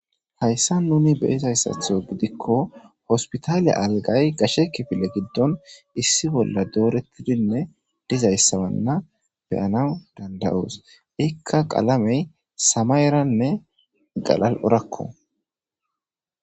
Hayssa nuni be izayssatho gidikko hospitaaliya algay gashekifile giddon issi bolla doorettidinne dizayssabanna beyana danda'oos ikka qalamey samayeranne galal'orakko.